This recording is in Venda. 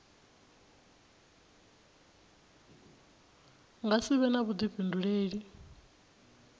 nga si vhe na vhuḓifhinduleli